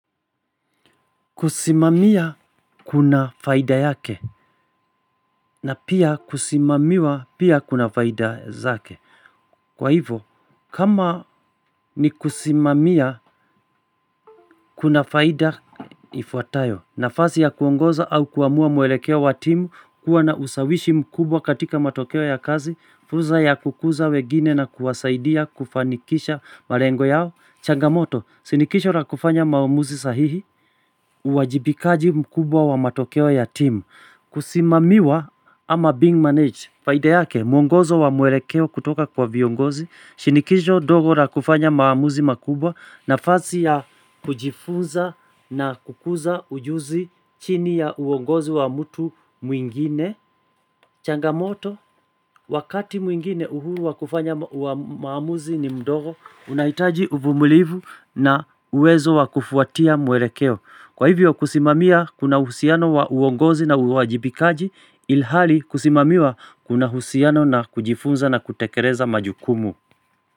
Kusimamia kuna faida yake na pia kusimamiwa pia kuna faida zake. Kwa hivo kama ni kusimamia kuna faida ifuatayo nafasi ya kuongoza au kuamua mwelekeo wa timu kuwa na usawishi mkubwa katika matokeo ya kazi. Fursa ya kukuza wengine na kuwasaidia kufanikisha malengo yao changamoto, shinikisho la kufanya maamuzi sahihi uwajibikaji mkubwa wa matokeo ya team. Kusimamiwa ama being managed faida yake, mwongozo wa mwelekeo kutoka kwa viongozi Shinikisho ndogo la kufanya maamuzi makubwa nafasi ya kujifunza na kukuza ujuzi chini ya uongozo wa mtu mwingine changamoto, wakati mwingine uhuru wa kufanya maamuzi ni mdogo unahitaji uvumulivu na uwezo wakufuatia mwelekeo Kwa hivyo kusimamia kuna uhusiano wa uongozi na uwajibikaji ilhali kusimamiwa kuna husiano na kujifunza na kutekeleza majukumu.